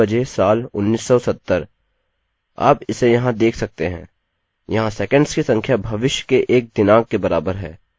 आप इसे यहाँ देख सकते हैं – यहाँ सेकंड्स की संख्या भविष्य के एक दिनांक के बराबर है